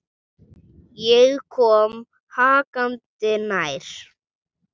Ég kom hikandi nær.